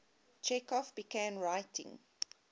chekhov began writing